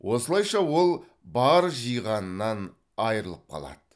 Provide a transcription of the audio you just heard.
осылайша ол бар жиғанынан айырылып қалады